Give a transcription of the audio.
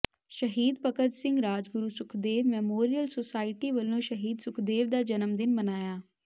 ਸ਼ਹੀਦ Bhagat Singh Rajguru Sukhdev memorial society ਵੱਲੋਂ ਸ਼ਹੀਦ ਸੁਖਦੇਵ ਦਾ ਜਨਮ ਦਿਨ ਮਨਾਇਆ